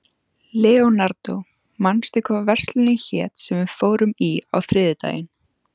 Leonardó, manstu hvað verslunin hét sem við fórum í á þriðjudaginn?